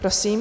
Prosím.